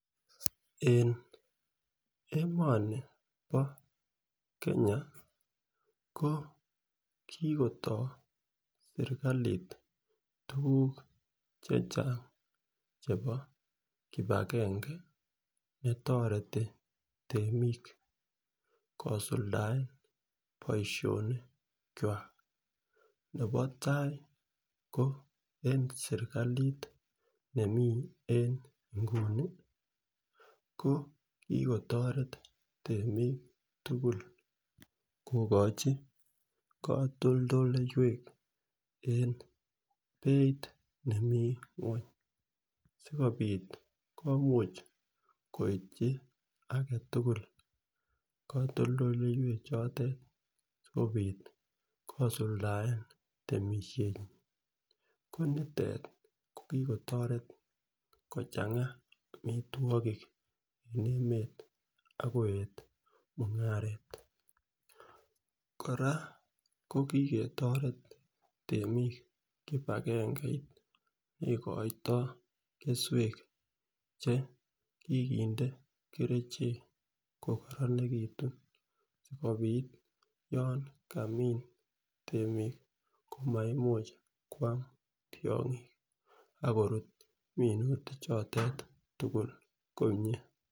En emoni bo Kenya ko kikotoo sirkalit tukuk chechang chebo kipagenge netoreti temik kisuldaen boishonik kwak, nebo tai ko en sirkalit nemii en inguni ko kikotoret temik kokochi kotoldoloiwek en beit nemii ngweny sikopit komuch koityi agetutuk kotoldoloiwek chotet sikopit kisuldaen temishet ko nitet ko kiko change omitwokik en emet ak koyet mungaret . Koraa ko kikotoret kipagange neikoito keswek che kikinde kerichek ko koronekitun sikopit yon kamim temik komaimuch kwam tyongik ak korutu minutik chotet tukuk komie.